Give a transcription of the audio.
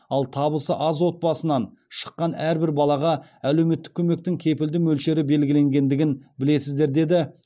ал табысы аз отбасынан шыққан әрбір балаға әлеуметтік көмектің кепілді мөлшері белгіленгендігін білесіздер деді